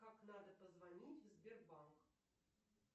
как надо позвонить в сбербанк